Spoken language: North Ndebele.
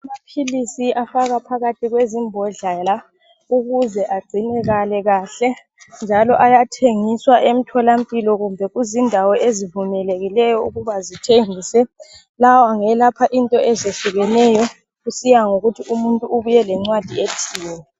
Amapilisi afakwa phakathi kwezibhodlwana ukuze agcinekale kahle. Njalimo ayathenguwas entolamphilo kumbe kuzindawo ezivumelekileyo ukuthi zithengise. Lawo ngolapha izinto ezihlukeneyo kusiya ngokuthi umuntu ubuye ngencwadi ethini.